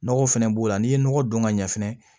Nɔgɔ fɛnɛ b'o la n'i ye nɔgɔ don ka ɲɛ fɛnɛ